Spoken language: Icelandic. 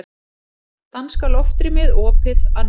Danska loftrýmið opið að nýju